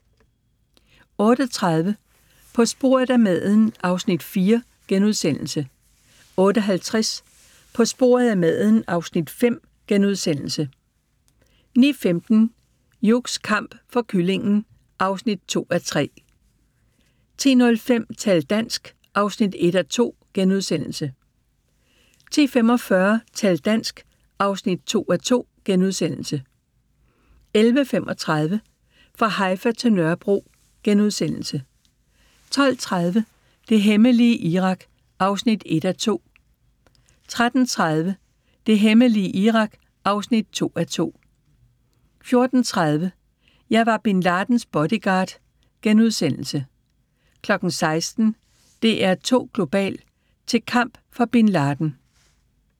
08:30: På sporet af maden (Afs. 4)* 08:50: På sporet af maden (Afs. 5)* 09:15: Hughs kamp for kyllingen (2:3) 10:05: Tal dansk! (1:2)* 10:45: Tal dansk! (2:2)* 11:35: Fra Haifa til Nørrebro * 12:30: Det hemmelige Irak (1:2) 13:30: Det hemmelige Irak (2:2) 14:30: Jeg var Bin Ladens bodyguard * 16:00: DR2 Global: Til kamp for Bin Laden